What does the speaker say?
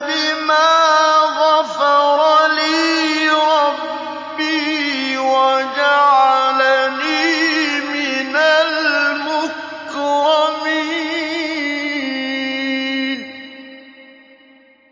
بِمَا غَفَرَ لِي رَبِّي وَجَعَلَنِي مِنَ الْمُكْرَمِينَ